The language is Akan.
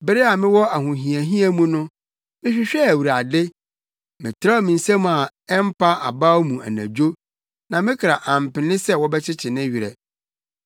Bere a mewɔ ahohiahia mu no, mehwehwɛɛ Awurade; metrɛw me nsa a ɛmpa abaw mu anadwo na me kra ampene sɛ wɔbɛkyekye ne werɛ.